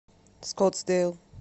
скоттсдейл